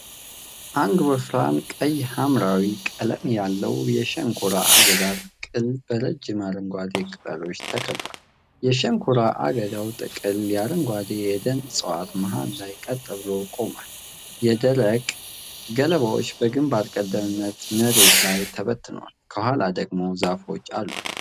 አንድ ወፍራም ቀይ ሐምራዊ ቀለም ያለው የሸንኮራ አገዳ ጥቅል በረጅም አረንጓዴ ቅጠሎች ተከቧል። የሸንኮራ አገዳው ጥቅል በአረንጓዴ የደን እፅዋት መሃል ላይ ቀጥ ብሎ ቆሟል። የደረቁ ገለባዎች በግንባር ቀደምትነት መሬት ላይ ተበትነዋል፣ ከኋላ ደግሞ ዛፎች አሉ።